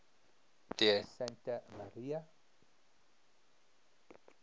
di santa maria